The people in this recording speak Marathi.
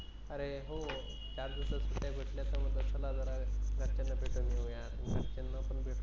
अरे हो चार दिवसात सुट्टी भेटले तर मला जरा घरच्यांना भेटून येऊ या